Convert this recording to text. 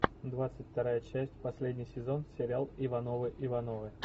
двадцать вторая часть последний сезон сериал ивановы ивановы